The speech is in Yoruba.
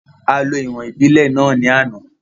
A lo ìwọ̀n ìbílẹ̀ náà ní àná